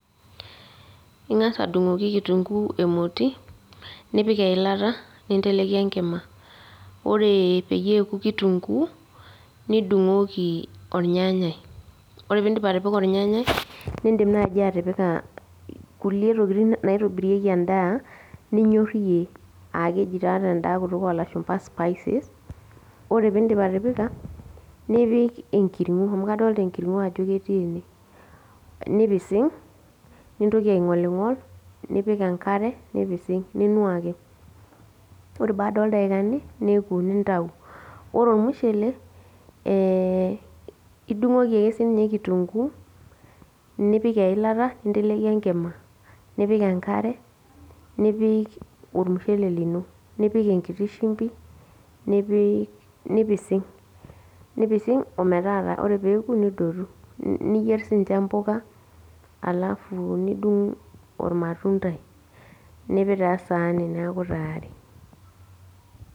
Ing'asa adung'oki kitunkuu emoti, nipik eilata, ninteleki enkima. Ore peyie eoku kitunkuu, nidung'oki ornyanyai. Ore pidip atipika ornyanyai, nidim naji atipika kulie tokiting naitobirieki endaa, ninyor iyie. Ah keji taa tenda kutuk olashumpa spices. Ore pidip atipika, nipik enkiring'o. Amu kadolta enkiring'o ajo ketii ene. Nipising',nintoki aing'oling'ol, nipik enkare, nipising',ninuaki. Ore baada oldaikani niko nintau. Ore ormushele, idung'oki ake sinye kitunkuu, nipik eilata ninteleki enkima. Nipik enkare, nipik ormushele lino. Nipik enkiti shimbi, nipik nipising'. Nipising' ometaata. Ore peku, nidotu. Niyier sinye mpuka, alafu nidung' ormatuntai. Nipik taa esaani neeku tayari.